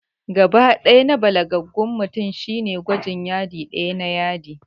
Gaɓa ɗaya na balagaggen mutum shine gwajin Yadi ɗaya na yadi